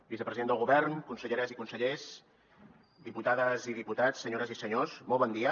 vicepresident del govern conselleres i consellers diputades i diputats senyores i senyors molt bon dia